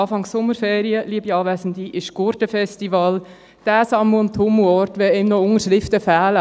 Anfang Sommerferien, liebe Anwesende, findet das Gurten-Festival statt – der Sammel- und Tummelort, wenn einem noch Unterschriften fehlen.